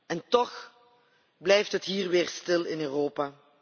En toch blijft het hier weer stil in Europa.